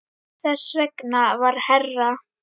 Þess vegna var herra